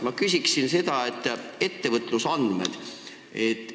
Ma küsin ettevõtlusandmete kohta.